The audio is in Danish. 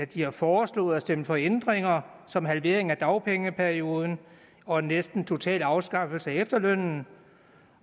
de har foreslået at stemme for ændringer som en halvering af dagpengeperioden og en næsten total afskaffelse af efterlønnen